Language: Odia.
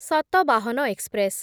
ଶତଭାହନ ଏକ୍ସପ୍ରେସ୍